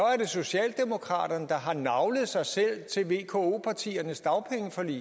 socialdemokraterne der har naglet sig selv til vko partiernes dagpengeforlig